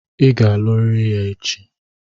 Ị ga-aluriri ya echi!